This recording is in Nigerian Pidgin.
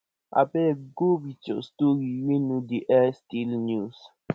abeg go with your story wey no dey air stale news